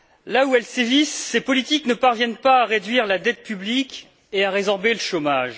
Là où elles sévissent, ces politiques ne parviennent pas à réduire la dette publique et à résorber le chômage.